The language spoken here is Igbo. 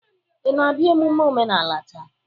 Ị na-abịa emume omenala taa?